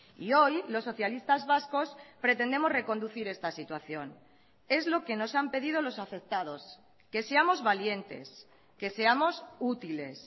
y hoy los socialistas vascos pretendemos reconducir esta situación es lo que nos han pedido los afectados que seamos valientes que seamos útiles